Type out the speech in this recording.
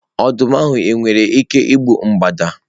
Ọdụm ahụ nwere ike igbu mgbada?